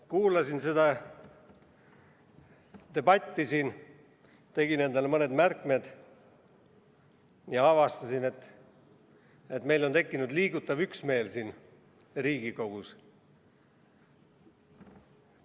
Kuulasin seda debatti siin, tegin endale mõned märkmed ja avastasin, et meil on tekkinud siin Riigikogus liigutav üksmeel.